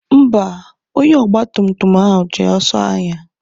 Mba, onye ọgba tum tum ahụ ji ọsọ na-anya.